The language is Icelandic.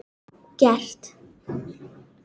Sögðu ekkert.